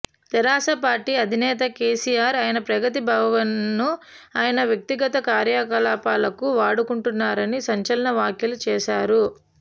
తెరాస party అధినేత కెసిఆర్ ఆయన ప్రగతి భవన్ ను ఆయన వ్యక్తిగత కార్యకలాపాలకు వాడుకుంటున్నారని సంచలన వ్యాఖ్యలు చేసారు